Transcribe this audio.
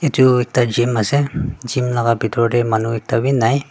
edu ekta gym ase gym laka bitor tae manu ekta bi nai.